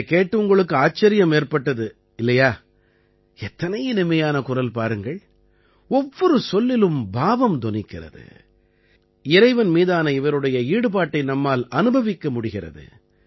இதைக் கேட்டு உங்களுக்கு ஆச்சரியம் ஏற்பட்டது இல்லையா எத்தனை இனிமையான குரல் பாருங்கள் ஒவ்வொரு சொல்லிலும் பாவம் தொனிக்கிறது இறைவன் மீதான இவருடைய ஈடுபாட்டை நம்மால் அனுபவிக்க முடிகிறது